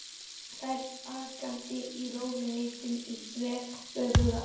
Þær akandi í rólegheitum í þveröfuga átt.